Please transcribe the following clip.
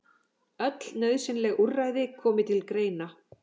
Öll nauðsynleg úrræði komi til greina